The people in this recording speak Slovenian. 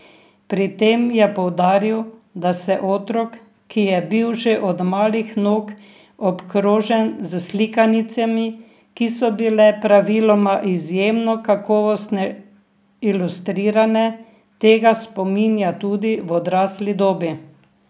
Pri tem je poudaril, da se otrok, ki je bil že od malih nog obkrožen s slikanicami, ki so bile praviloma izjemno kakovostne ilustrirane, tega spominja tudi v odrasli dobi.